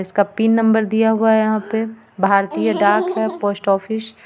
इसका pin number दिया हुआ है यहां पर भारतीय डाक घर पोस्ट ऑफिस .